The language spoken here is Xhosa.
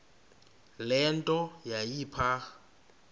le nto yayipha